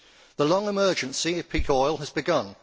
The long emergency of peak oil has begun.